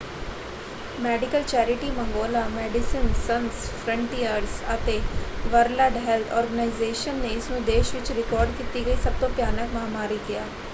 Medical charity ਮੰਗੋਲਾ Medecins Sans Frontieres ਅਤੇ World Health Organization ਨੇ ਇਸਨੂੰ ਦੇਸ਼ ਵਿੱਚ ਰਿਕਾਰਡ ਕੀਤੀ ਗਈ ਸਭ ਤੋਂ ਭਿਆਨਕ ਮਹਾਂਮਾਰੀ ਕਿਹਾ।